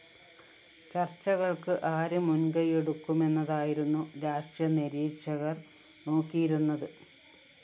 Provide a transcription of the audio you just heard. ചര്‍ച്ചകള്‍ക്ക് ആരു മുന്‍കയ്യെടുക്കുമെന്നതായിരുന്നു രാഷ്ട്രീയ നിരീക്ഷകര്‍ നോക്കിയിരുന്നത്